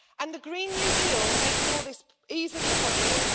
The Green New Deal makes all this easily possible.